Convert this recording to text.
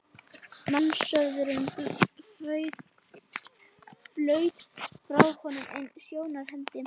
Mannsöfnuðurinn flaut framhjá honum í einni sjónhending.